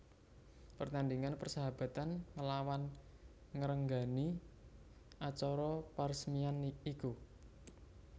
Pertandingan persahabatan nglawan ngrenggani acara peresmian iku